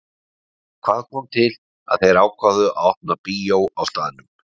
En hvað kom til að þeir ákváðu að opna bíó á staðnum?